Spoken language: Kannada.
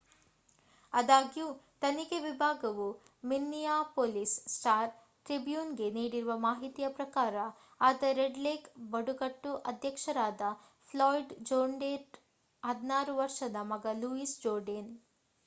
ಆದಾಗ್ಯೂ ತನಿಖೆ ವಿಭಾಗವು ಮಿನ್ನಿಯಾಪೋಲಿಸ್ ಸ್ಟಾರ್-ಟ್ರಿಬ್ಯೂನ್‌ಗೆ ನೀಡಿರುವ ಮಾಹಿತಿಯ ಪ್ರಕಾರ ಆತ ರೆಡ್ ಲೇಕ್ ಬುಡಕಟ್ಟು ಅಧ್ಯಕ್ಷರಾದ ಫ್ಲಾಯ್ಡ್ ಜೋರ್ಡೇನ್‌ರ 16 ವರ್ಷದ ಮಗ ಲೂಯಿಸ್ ಜೋರ್ಡೇನ್